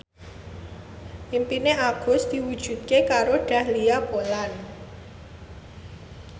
impine Agus diwujudke karo Dahlia Poland